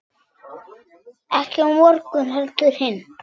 Ekki á morgun heldur hinn.